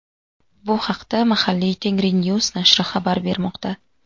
Bu haqda mahalliy "Tengrinews" nashri xabar bermoqda.